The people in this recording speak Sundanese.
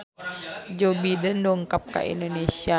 Joe Biden dongkap ka Indonesia